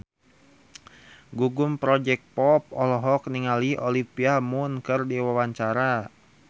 Gugum Project Pop olohok ningali Olivia Munn keur diwawancara